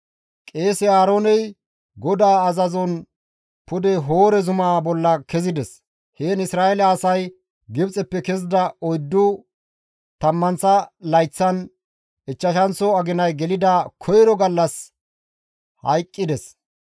Qeese Aarooney GODAA azazon pude Hoore zumaa bolla kezides; heen Isra7eele asay Gibxeppe kezida oyddu tammanththa layththan ichchashanththo aginay xeerida koyro gallas hayqqides.